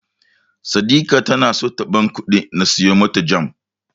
Saddika ta so ta bani kuɗi na siyo mata Jam.